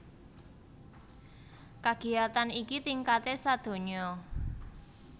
Kagiyatan iki tingkaté sadonya